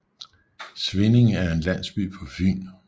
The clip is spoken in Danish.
Svindinge er en landsby på Fyn med